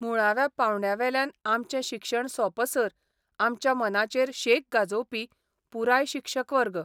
मुळाव्या पावंड्यावेल्यान आमचें शिक्षण सोंपसर आमच्या मनाचेर शेक गाजोवपी पुराय शिक्षक वर्ग.